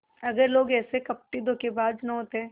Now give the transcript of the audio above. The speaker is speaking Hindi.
अगर लोग ऐसे कपटीधोखेबाज न होते